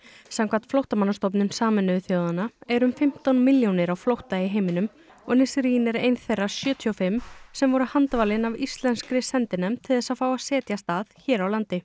samkvæmt Flóttamannastofnun Sameinuðu þjóðanna eru um fimmtán millljónir á flótta í heiminum og Nisreen er ein þeirra sjötíu og fimm sem voru handvalin af íslenskri sendinefnd til þess að fá að setjast að hér á landi